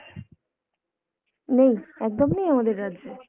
নেই! একদম নেই আমাদের রাজ্যে?